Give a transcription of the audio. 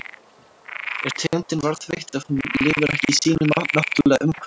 Er tegundin varðveitt ef hún lifir ekki í sínu náttúrulega umhverfi?